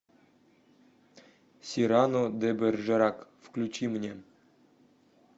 сирано де бержерак включи мне